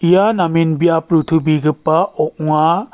ia namen biap rotobegipa ong·a.